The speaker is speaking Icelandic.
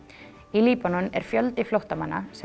í Líbanon er fjöldi flóttamanna sem